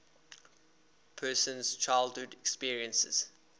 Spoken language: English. person's childhood experiences